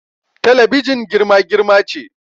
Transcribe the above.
Talabijin girma-girma ce